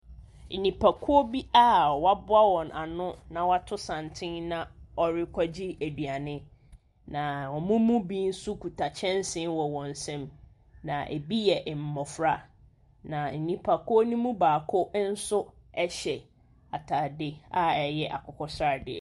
Nnipakuo bi a wɔaboa wɔn ano wɔato santene na wɔrekɔgye aduane. Na wɔn mu bi kita kyɛnse wɔn nsa, na bi yɛ mmɔfra. Na nnipakuo ne mu baako hyɛ ataade a ɛyɛ akokɔsradeɛ.